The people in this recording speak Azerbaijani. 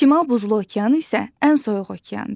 Şimal Buzlu okean isə ən soyuq okeandır.